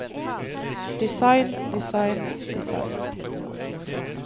design design design